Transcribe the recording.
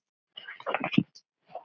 Veldur hver á heldur.